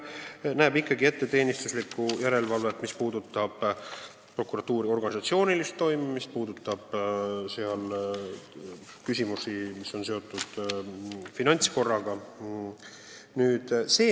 See tähendab ikkagi teenistuslikku järelevalvet, mis puudutab prokuratuuri organisatsioonilist toimimist, sh küsimusi, mis on seotud finantskorraga.